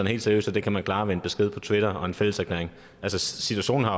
helt seriøst at det kan man klare med en besked på twitter og en fælleserklæring altså situationen er